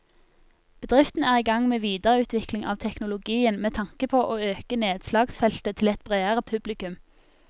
Bedriften er i gang med videreutvikling av teknologien med tanke på å øke nedslagsfeltet til et bredere publikum.